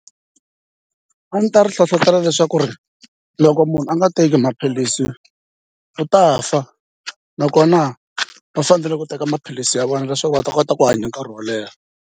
A ndzi ta ri hlohlotelo leswaku ri loko munhu a nga teki maphilisi u ta fa nakona va fanele ku teka maphilisi ya vona leswaku va ta kota ku hanya nkarhi wo leha.